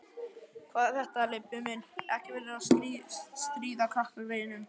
Hvað er þetta, Leibbi minn. ekki vera að stríða krakkagreyjunum!